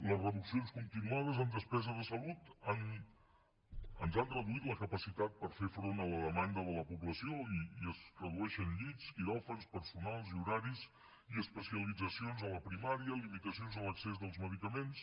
les reduccions continuades en despesa de salut ens han reduït la capacitat per fer front a la demanda de la població i es redueixen llits quiròfans personal i horaris i especialitzacions a la primària limitacions a l’accés dels medicaments